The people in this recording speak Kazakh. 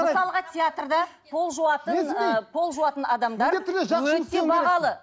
мысалға театрда пол жуатын ыыы пол жуатын адамдар өте бағалы